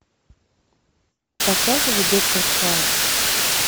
показывай доктор хаус